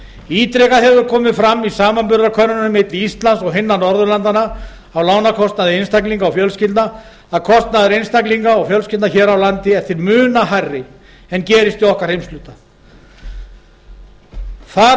ítrekað hefur komið fram í samanburðarkönnunum milli íslands og hinna norðurlandanna á lánakostnaði einstaklinga og fjölskyldna að kostnaður einstaklinga og fjölskyldna hér á landi er til muna hærri en gerist í okkar heimshluta þar